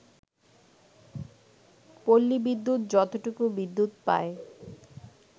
পল্লী বিদ্যুৎ যতটুকু বিদ্যুৎ পায়